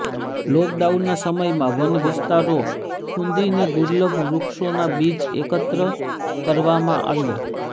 લોકડાઉનના સમયમાં વન વિસ્તારો ખુંદીને દુલર્ભ વૃક્ષોના બીજ એકત્ર કરવામાં આવ્યા